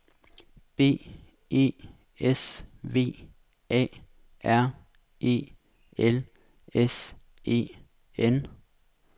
B E S V A R E L S E N